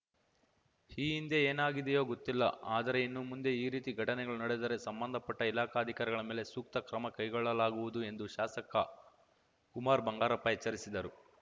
ಈ ಹಿಂದೆ ಏನಾಗಿದೆಯೋ ಗೊತ್ತಿಲ್ಲ ಆದರೆ ಇನ್ನು ಮುಂದೆ ಈ ರೀತಿ ಘಟನೆಗಳು ನಡೆದರೆ ಸಂಬಂಧಪಟ್ಟಇಲಾಖಾ ಅಧಿಕಾರಿಗಳ ಮೇಲೆ ಸೂಕ್ತ ಕ್ರಮ ಕೈಗೊಳ್ಳಲಾಗುವುದು ಎಂದು ಶಾಸಕ ಕುಮಾರ್‌ ಬಂಗಾರಪ್ಪ ಎಚ್ಚರಿಸಿದರು